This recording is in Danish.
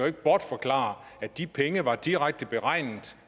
ikke bortforklare at de penge var direkte beregnet